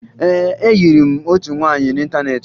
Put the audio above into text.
Ee, ayịrị m otu nwaanyị n'ịntaneetị